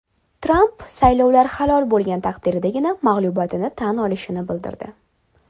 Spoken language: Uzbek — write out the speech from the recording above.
Tramp saylovlar halol bo‘lgan taqdirdagina mag‘lubiyatini tan olishini bildirdi.